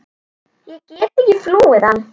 Ég get ekki flúið hann.